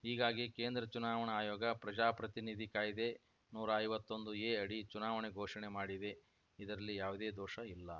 ಹೀಗಾಗಿ ಕೇಂದ್ರ ಚುನಾವಣಾ ಆಯೋಗ ಪ್ರಜಾಪ್ರತಿನಿಧಿ ಕಾಯ್ದೆ ನೂರಾ ಐವತ್ತೊಂದು ಎ ಅಡಿ ಚುನಾವಣೆ ಘೋಷಣೆ ಮಾಡಿದೆ ಇದರಲ್ಲಿ ಯಾವುದೇ ದೋಷ ಇಲ್ಲ